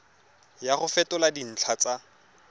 ya go fetola dintlha tsa